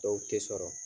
Dɔw tɛ sɔrɔ